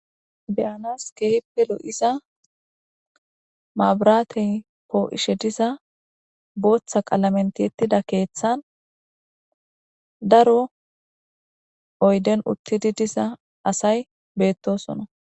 beyanas keehippe lo'ixa maabratey po'ishe diza booththa qalamen tiyettida keeththan daro oyden uttidi diza asay beettosona